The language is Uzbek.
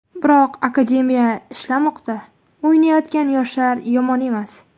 Biroq akademiya ishlamoqda, o‘ynayotgan yoshlar yomon emas.